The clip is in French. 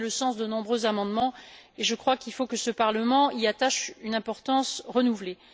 Ça a été le sens de nombreux amendements, et je crois qu'il faut que ce Parlement y attache une importance renouvelée.